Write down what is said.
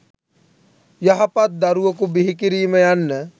යහපත් දරුවකු බිහිකිරීම යන්න